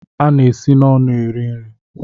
A na-esi n'ọnụ eri nri